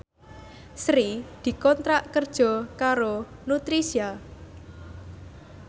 Sri dikontrak kerja karo Nutricia